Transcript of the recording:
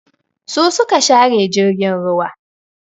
Su su ka share jirgin ruwa.